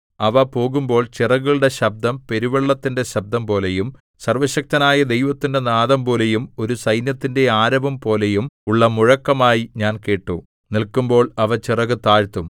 അവ പോകുമ്പോൾ ചിറകുകളുടെ ശബ്ദം പെരുവെള്ളത്തിന്റെ ശബ്ദംപോലെയും സർവ്വശക്തനായ ദൈവത്തിന്റെ നാദംപോലെയും ഒരു സൈന്യത്തിന്റെ ആരവം പോലെയും ഉള്ള മുഴക്കമായി ഞാൻ കേട്ടു നില്ക്കുമ്പോൾ അവ ചിറകു താഴ്ത്തും